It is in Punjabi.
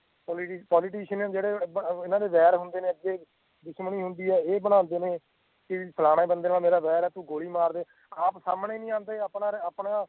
ਪੋਲਿਟੀਸ਼ਨ ਜੇੜੇ ਇਨ੍ਹਾਂ ਦੇ ਵੈਰ ਹੁੰਦੇ ਨੇ ਅੱਗੇ ਦੁਸ਼ਮਣੀ ਹੁੰਦੀ ਹੈ ਏਹ ਬਣਾਦੇ ਨੇ ਕਿਫਲਾਣੇ ਬੰਦੇ ਨਾਲ ਮੇਰਾ ਵੇਰ ਹੈ ਤੂੰ ਗੋਲੀ ਮਾਰ ਦੇ ਆਪ ਸਾਮਣੇ ਨਹੀਂ ਆਂਦੇ ਆਪਣਾ